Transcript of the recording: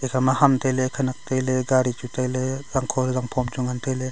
ekhama ham tailey khanak tailey gaari chu tailey zangkho to zangphom chu ngan tailey.